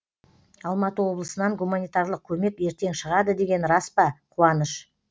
алматы облысынан гуманитарлық көмек ертең шығады деген рас па қуаныш